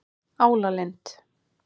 Álalind